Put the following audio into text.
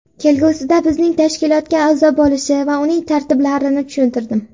Kelgusida bizning tashkilotga a’zo bo‘lishi va uning tartiblarini tushuntirdim.